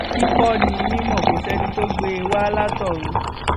kíkọ ni mímọ kò sẹni tó gbé e wá látọrun